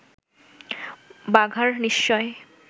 বাঘার নিশ্চয়